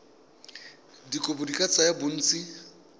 dikopo di ka tsaya bontsi